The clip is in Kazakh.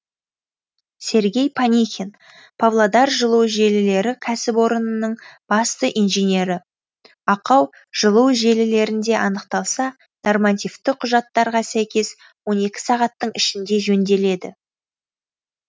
сергей панихин павлодар жылу желілері кәсіпорнының бас инженері ақау жылу желілерінде анықталса нормативті құжаттарға сәйкес он екі сағаттың ішінде жөнделеді